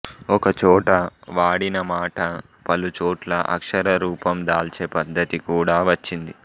ఒకచోట వాడిన మాట పలుచోట్ల అక్షరరూపం దాల్చే పద్ధతి కూడా వచ్చింది